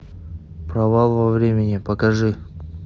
провал во времени покажи